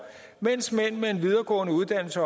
mens mænd med en videregående uddannelse